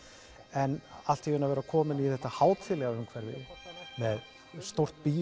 en allt í einu að vera kominn í þetta hátíðlega umhverfi með stórt